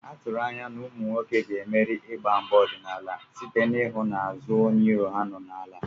A tụrụ anya na ụmụ nwoke ga-emeri igba mgba ọdịnala site n'ịhụ na azụ onye iro ha nọ n'ala.